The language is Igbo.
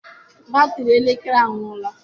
batrị elekere anwụọla.